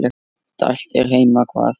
Dælt er heima hvað.